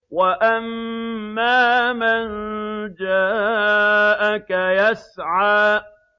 وَأَمَّا مَن جَاءَكَ يَسْعَىٰ